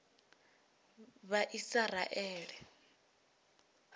vhaisiraele